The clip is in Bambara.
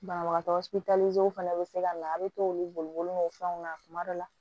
Banabagatɔ fana bɛ se ka na a bɛ t'olu bolo fɛnw na kuma dɔ la